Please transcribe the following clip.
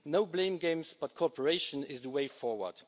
Not blame games, but cooperation is the way forward.